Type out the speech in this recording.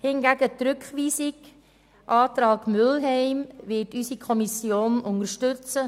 Hingegen wird die Fraktion den Rückweisungsantrag Mühlheim unterstützen.